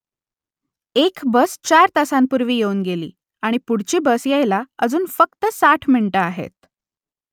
एक बस चार तासांपूर्वी येऊन गेली आणि पुढची बस यायला अजून फक्त साठ मिनिटं आहे